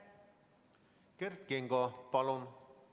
Kert Kingo, palun!